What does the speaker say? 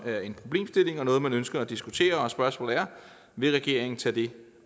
det er en problemstilling og noget man ønsker at diskutere og spørgsmålet er vil regeringen tage det